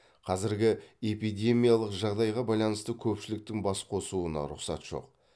қазіргі эпидемиялық жағдайға байланысты көпшіліктің бас қосуына рұқсат жоқ